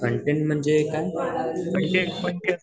content म्हणजे काय content म्हणजे